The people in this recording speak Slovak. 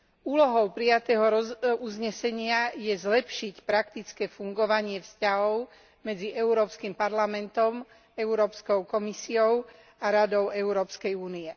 Úlohou prijatého uznesenia je zlepšiť praktické fungovanie vzťahov medzi Európskym parlamentom, Európskou komisiou a Radou Európskej únie.